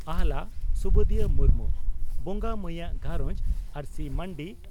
ᱟᱦᱞᱟ (ᱥᱩᱵᱩᱫᱤᱭᱟᱹ ᱢᱩᱨᱢᱩ) ᱵᱚᱸᱜᱟ ᱢᱟᱹᱭᱟᱜ ᱜᱷᱟᱨᱚᱸᱡᱽ (ᱟᱹᱨᱥᱤ ᱢᱟᱹᱱᱰᱤ)